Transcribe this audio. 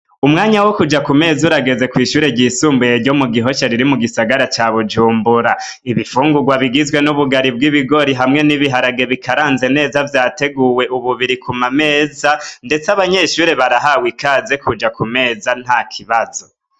Umwanya wo kuja ku meza urageze kw'ishuri ryisumbuye ryo mu Gihosha riri mu gisagara ca Bujumbura. Ibifugurwa bigizwe n'ubugari bw'ibigori hamwe n'ibiharage bikaranze neza, vyateguwe ubu, biri ku ma meza, ndetse abanyeshure barahawe ikaze kuja ku meza nta kibazo.